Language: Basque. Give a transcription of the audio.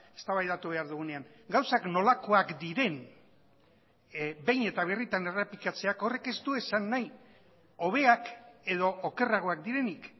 eztabaidatu behar dugunean gauzak nolakoak diren behin eta birritan errepikatzeak horrek ez du esan nahi hobeak edo okerragoak direnik